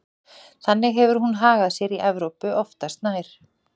Þannig hefur hún hagað sér í Evrópu oftast nær.